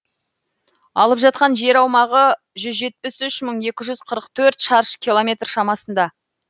алып жатқан жер аумағы жүз жетпіс үш мың екі жүз қырық төрт мың шаршы километр шамасында